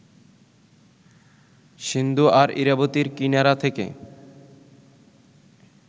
সিন্ধু আর ইরাবতীর কিনারা থেকে